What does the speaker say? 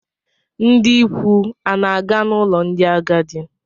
Ndị ikwu ana-aga n'ụlọ ndị agadi?